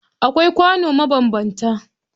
Akwai kwano mabanbanta